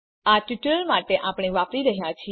આ ટ્યુટોરીયલ માટે આપણે વાપરી રહ્યા છે